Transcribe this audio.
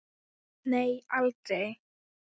Nei, aldrei.